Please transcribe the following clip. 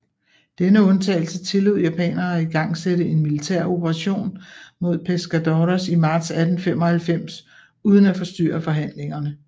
Denne undtagelse tillod japanerne at igangsætte en militær operation mod Pescadores i marts 1895 uden at forstyrre forhandlingerne